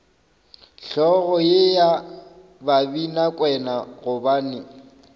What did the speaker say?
hlogo ye ya babinakwena gobane